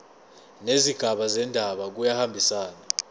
nezigaba zendaba kuyahambisana